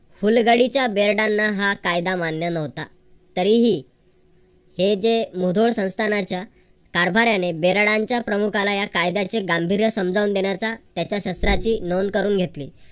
फुल गडीच्या बेरडांना हा कायदा मान्य नव्हता. तरीही हे जे मुधोळ संस्थानाच्या कारभाऱ्याने बेरडांच्या प्रमुखाला या कायद्याचे गांभीर्य समजावून देण्याचा त्याच्या शस्त्राची नोंद करून घेतली.